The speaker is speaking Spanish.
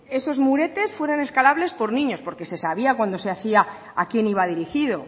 esos muretes sean escalables por niños porque se sabía cuando se hacía a quién iba dirigido